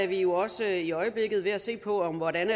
vi også i øjeblikket ved at se på hvordan